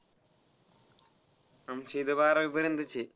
आमची तर बारावी पर्यंतच आहे.